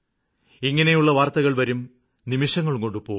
ഇങ്ങനെയുള്ള വാര്ത്തകള് വരും നിമിഷങ്ങള്കൊണ്ട് പോകും